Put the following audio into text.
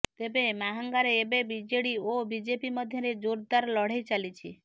ତେବେ ମାହାଙ୍ଗାରେ ଏବେ ବିଜେଡି ଓ ବିଜେପି ମଧ୍ୟରେ ଜୋର୍ଦାର ଲଢେଇ ଚାଲିଛି